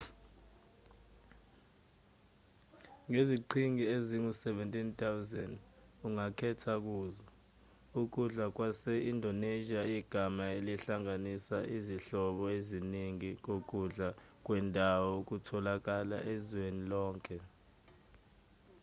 ngeziqhingi ezingu-17,000 ongakhetha kuzo ukudla kwase-indonesia igama elihlanganisa izinhlobo eziningi zokudlwa kwendawo okutholakala ezweni lonke